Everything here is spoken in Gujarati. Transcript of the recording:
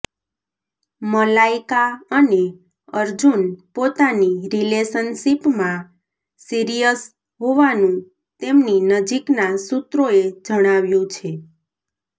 મલાઈકા અને અર્જુન પોતાની રિલેશનશીપમાં સીરિયસ હોવાનું તેમની નજીકના સૂત્રોએ જણાવ્યું છે